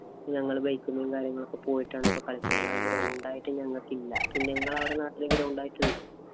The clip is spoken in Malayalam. ഞങ്ങള് bike ഇലും, കാര്യങ്ങളിലും ഒക്കെ പോയിട്ടാണ് ഇപ്പം കളിക്കല്. എന്നാല്‍ ground ആയിട്ട് ഞങ്ങള്‍ക്കില്ല. പിന്നെ ഇങ്ങടെ അവിടെ നാട്ടില് ground ആയിട്ട് ഉണ്ടോ?